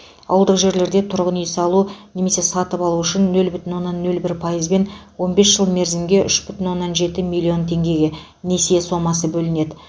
ауылдық жерлерде тұрғын үй салу немесе сатып алу үшін нөл бүтін оннан нөл бір пайызбен он бес жыл мерзімге үш бүтін оннан жеті миллион теңгеге несие сомасы бөлінеді